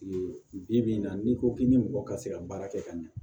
Bi bi in na n'i ko k'i ni mɔgɔ ka se ka baara kɛ ka ɲa